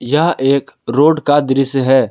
यह एक रोड का दृश्य है।